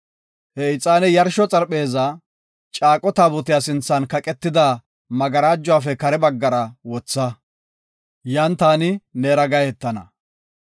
He ixaane yarsho xarpheezaa, Caaqo Taabotiya sinthan kaqetida magarajuwafe kare baggara wotha. Yan taani neera gahetana.